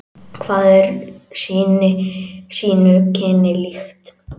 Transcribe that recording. Hvað er sínu kyni líkt.